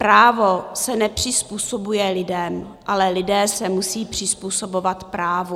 Právo se nepřizpůsobuje lidem, ale lidé se musí přizpůsobovat právu.